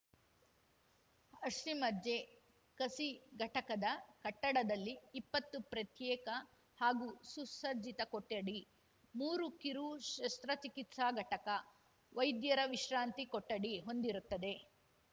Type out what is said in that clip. ಅಸ್ಥಿಮಜ್ಜೆ ಕಸಿ ಘಟಕದ ಕಟ್ಟಡದಲ್ಲಿ ಇಪ್ಪತ್ತು ಪ್ರತ್ಯೇಕ ಹಾಗೂ ಸುಸಜ್ಜಿತ ಕೊಠಡಿ ಮೂರು ಕಿರು ಶಸ್ತ್ರಚಿಕಿತ್ಸಾ ಘಟಕ ವೈದ್ಯರ ವಿಶ್ರಾಂತಿ ಕೊಠಡಿ ಹೊಂದಿರುತ್ತದೆ